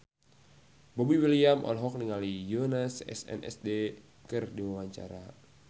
Boy William olohok ningali Yoona SNSD keur diwawancara